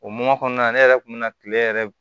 O mɔ kɔnɔna ne yɛrɛ kun mi na kile yɛrɛ